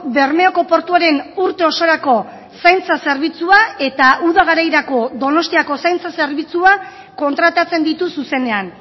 bermeoko portuaren urte osorako zaintza zerbitzua eta uda garairako donostiako zaintza zerbitzua kontratatzen ditu zuzenean